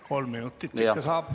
Kolm minutit ikka saab.